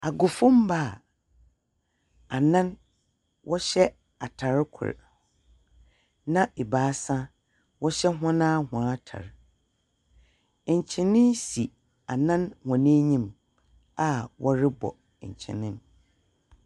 Agofomma, a anan wɔhyɛ atar kor, na ebaasa wɔhyɛ hɔn ara wɔn ntar. Nkyene si Annan wɔn enyim, a wɔrebɔ nkyene no.